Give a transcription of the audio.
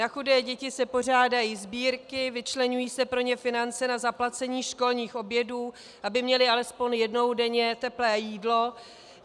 Na chudé děti se pořádají sbírky, vyčleňují se pro ně finance na zaplacení školních obědů, aby měly alespoň jednou denně teplé jídlo.